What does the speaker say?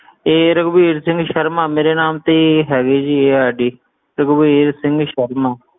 ਇਹ ਰਘੁਵੀਰ ਸਿੰਘ ਸ਼ਰਮਾ ਮੇਰੇ ਨਾਮ ਤੇ ਹੀ ਹੈਗੀ ਆ ਜੀ ਇਹ ID ਰਘੁਵੀਰ ਸਿੰਘ ਸ਼ਰਮਾ।